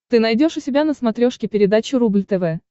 ты найдешь у себя на смотрешке передачу рубль тв